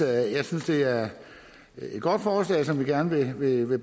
jeg synes det er et godt forslag som vi gerne vil